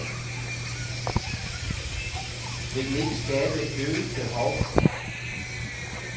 Vil den ikke skabe et øget behov?